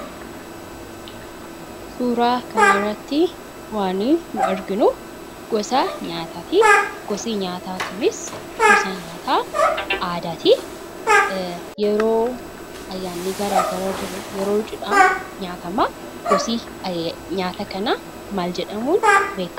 Suuraa kanarratti wanti nuni arginuu gosaa nyaataati. Gosi nyaataa kunis gosa nyaataa aadaatii yeroo ayyaanni garagaraa jiruu, yeroo cidhaa nyaatamaa, gosti nyaata kanaa maal jedhamuun beekkama?